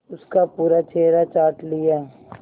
उसका पूरा चेहरा चाट लिया